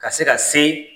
Ka se ka se